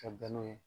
Ka bɛn n'o ye